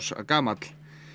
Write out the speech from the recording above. gamall